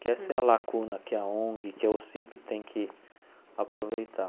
Que essa é a lacuna que a ONG, que OSCIP tem que aproveitar.